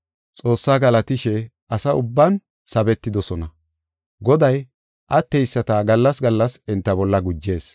Xoossa galatishe asa ubban sabetidosona. Goday atteyisata gallas gallas enta bolla gujees.